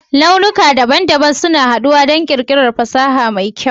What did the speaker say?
launuka daban-daban suna haɗuwa don ƙirƙirar fasaha mai kyau